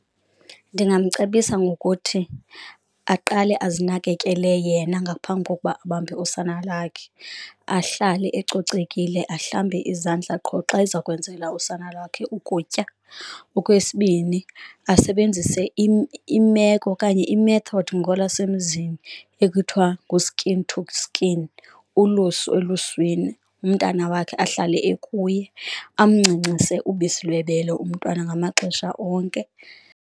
Ndingamcebisa ngokuthi aqale azinakekele yena ngaphambi kokuba abambe usana lakhe ahlale ecocekile, ahlambe izandla qho xa eza kwenzela usana lwakhe ukutya. Okwesibini, asebenzise imeko okanye i-method ngolwasemzini ekuthiwa ngu-skin to skin, ulusu eluswini, umntana wakhe ahlale ekuye amncancise ubisi lwebele umntwana ngamaxesha onke.